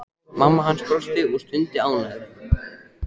Mamma hans brosti og stundi ánægð.